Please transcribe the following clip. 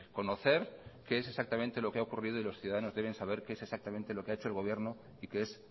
conocer qué es exactamente lo que ha ocurrido y los ciudadanos deben saber qué es exactamente lo que ha hecho el gobierno y qué es